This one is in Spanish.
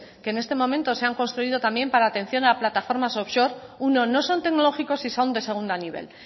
que en este momento se han construido también para atención a la plataforma offshore uno no son tecnológicos y son de segundo nivel